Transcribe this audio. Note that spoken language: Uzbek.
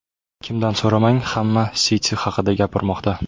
Kimdan so‘ramang, hamma City haqida gapirmoqda.